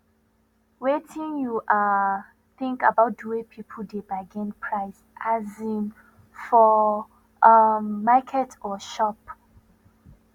wetin you um think about di way people dey bargain price um for um market or shop